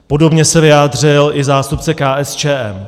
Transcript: Podobně se vyjádřil i zástupce KSČM.